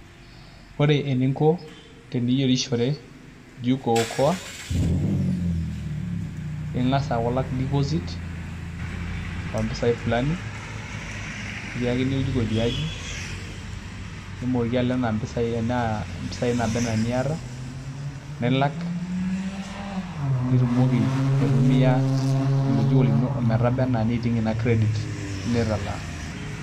Ore eniko teniyierishore jiko okoa ingas aaku ilak deposit oompisai fulani nikiyakini oljiko tiaji nimooki alak enaa mpisaai naaba enaa iniata.